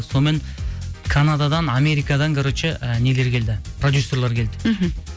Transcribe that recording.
сонымен канададан америкадан короче і нелер келді продюссерлер келді мхм